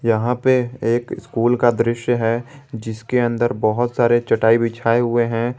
यहां पे स्कूल का दृश्य है जिसके अंदर बहुत सारे चटाई बिछाई हुए हैं।